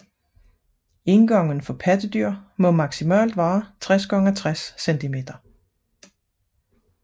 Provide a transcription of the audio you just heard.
Indgangen for pattedyr må maksimalt være 60 x 60 centimeter